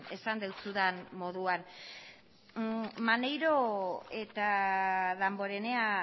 esan dizudan moduan maneiro eta damborenea